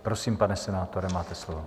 Prosím, pane senátore, máte slovo.